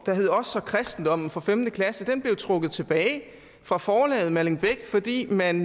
der hed os og kristendom for femte klasse og den blev trukket tilbage fra forlaget malling beck fordi man